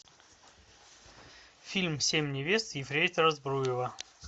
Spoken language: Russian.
фильм семь невест ефрейтора збруева